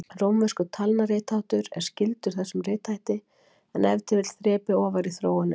Rómverskur talnaritháttur er skyldur þessum rithætti, en ef til vill þrepi ofar í þróuninni.